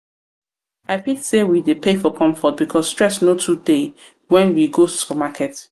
i fit sey we dey pay for comfort because stress no too dey when we go supermarket